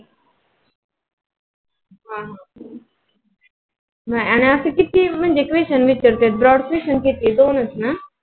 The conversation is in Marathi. आणि असे किती question विचारते? म्हणजे brod question किती दोनच ना?